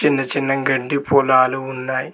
చిన్న చిన్న గడ్డి పొలాలు ఉన్నాయ్.